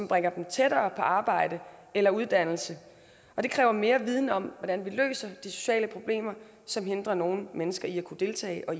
bringer dem tættere på arbejde eller uddannelse og det kræver mere viden om hvordan vi løser de sociale problemer som hindrer nogle mennesker i at kunne deltage og